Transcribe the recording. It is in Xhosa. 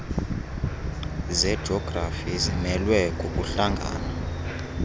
zejografi zimelwe kukuhlangana